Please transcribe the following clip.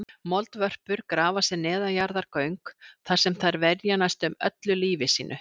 Moldvörpur grafa sér neðanjarðargöng þar sem þær verja næstum öllu lífi sínu.